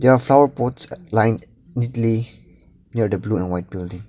there are boards lined neatly near the blue and white building.